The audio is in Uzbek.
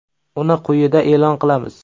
Uni quyida e’lon qilamiz.